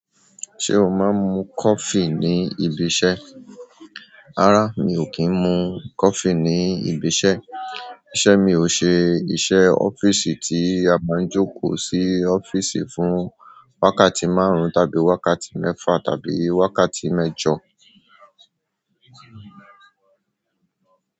Ṣé o máa ń mu coffee ní ibi iṣẹ́? Rara mi o ki n mu coffe ni ibi iṣẹ́. Ìṣe mi ò ṣe iṣẹ́ ọ́fíìsì tí a máa ń jókòó sí ọ́fíìsì fún wákàtí márùn-ún tàbí wákàtí mẹ́fa tàbí wákàtí mẹ́jọ.